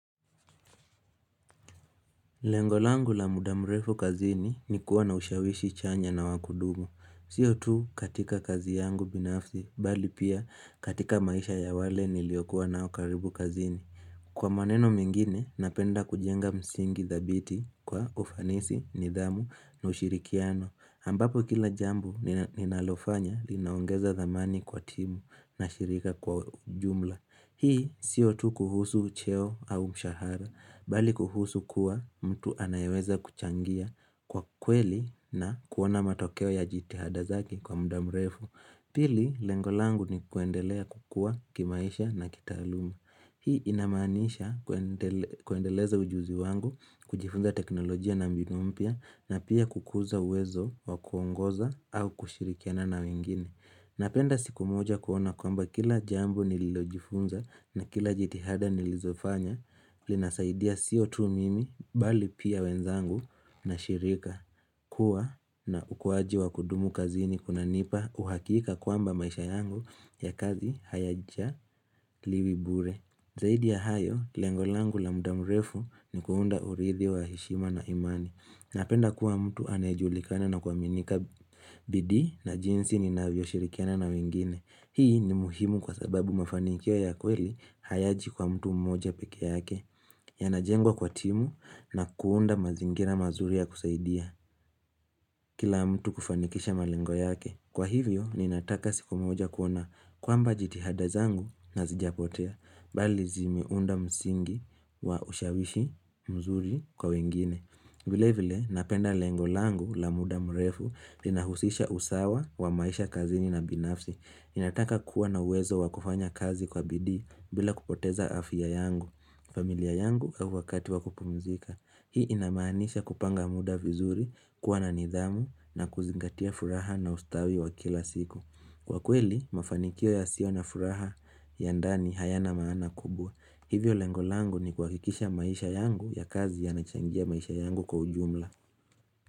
Lengolangu la mudamrefu kazini ni kuwa na ushawishi chanya na wakudumu. Siyo tu katika kazi yangu binafsi bali pia katika maisha ya wale niliokuwa nao karibu kazini. Kwa maneno mengine, napenda kujenga msingi thabiti kwa ufanisi, nidhamu na ushirikiano. Ambapo kila jambo ninalofanya linaongeza dhamani kwa timu na shirika kwa jumla. Hii siotu kuhusu cheo au mshahara, bali kuhusu kuwa mtu anayeweza kuchangia kwa kweli na kuona matokewa ya jitihada zake kwa mdamrefu. Pili, lengolangu ni kuendelea kukua kimaisha na kitaaluma. Hii inamanisha kuendeleza ujuzi wangu, kujifunza teknolojia na mbinu mpia, na pia kukuza uwezo wa kuongoza au kushirikiana na wengine. Napenda siku moja kuona kwamba kila jambo nililojifunza na jitihada nilizofanya, linasaidia sio tu mimi bali pia wenzangu na shirika kua na ukuwaji wa kudumu kazini kuna nipa uhakika kwamba maisha yangu ya kazi hayaja liwi bure Zaidi ya hayo, lengolangu la mudamurefu ni kuunda uridhi wa heshima na imani Napenda kuwa mtu anayejulikane na kuaminika bidii na jinsi ni navyo shirikiana na wengine Hii ni muhimu kwa sababu mafanikio ya kweli hayaji kwa mtu mmoja peke yake, ya najengwa kwa timu na kuunda mazingira mazuri ya kusaidia kila mtu kufanikisha malengo yake. Kwa hivyo, ninataka siku mmoja kuona kwamba jitihada zangu na zijapotea, bali zimeunda msingi wa ushawishi mzuri kwa wengine. Vile vile, napenda lengolangu la muda mrefu inahusisha usawa wa maisha kazini na binafsi. Ninataka kuwa na uwezo wakufanya kazi kwa bidii bila kupoteza afia yangu, familia yangu au wakati wakupumzika. Hii inamanisha kupanga muda vizuri, kuwa na nidhamu na kuzingatia furaha na ustawi wa kila siku. Kwa kweli, mafanikio ya sio na furaha ya ndani hayana maana kubwa. Hivyo lengolango ni kuhakikisha maisha yangu ya kazi ya nachangia maisha yangu kwa ujumla.